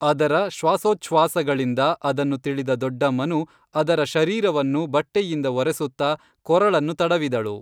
ಅದರ ಶ್ವಾಸೋಚ್ಛ್ವಾಸಗಳಿಂದ ಅದನ್ನು ತಿಳಿದ ದೊಡ್ಡಮ್ಮನು ಅದರ ಶರೀರವನ್ನು ಬಟ್ಟೆಯಿಂದ ಒರೆಸುತ್ತ ಕೊರಳನ್ನು ತಡವಿದಳು